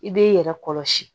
I b'i yɛrɛ kɔlɔsi